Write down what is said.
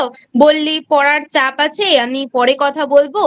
বললি পড়ার চাপ আছে আমিপরে কথা বলব।